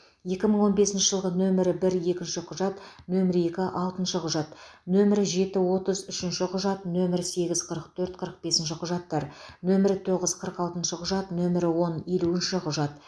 екі мың он бесінші жылғы нөмірі бір екінші құжат нөмірі екі алтыншы құжат нөмірі жеті отыз үшінші құжат нөмірі сегіз қырық төрт қырық бесінші құжаттар нөмірі тоғыз қырық алтыншы құжат нөмірі он елуінші құжат